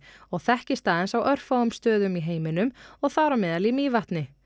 og þekkist aðeins á örfáum stöðum í heiminum og þar á meðal í Mývatni